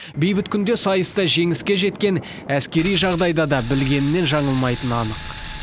бейбіт күнде сайыста жеңіске жеткен әскери жағдайда да білгенінен жаңылмайтыны анық